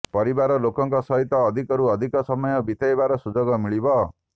ପରିବାର ଲୋକଙ୍କ ସହିତ ଅଧିକରୁ ଅଧିକ ସମୟ ବିତେଇବାର ସୁଯୋଗ ମିଳିବ